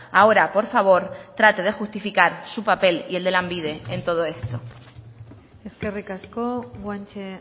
ahora por favor trate de justificar su papel y el de lanbide en todo esto eskerrik asko guanche